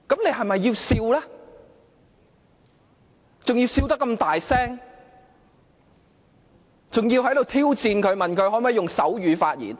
還笑得那麼大聲，挑戰他能否用手語發言。